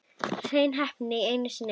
Hrein heppni einu sinni enn.